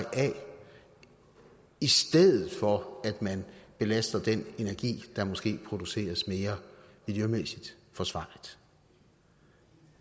af i stedet for at man belaster den energi der måske produceres mere miljømæssigt forsvarligt